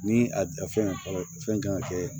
Ni a fɛn fɔlɔ fɛn kan ka kɛ